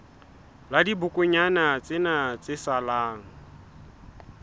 la dibokonyana tsena tse salang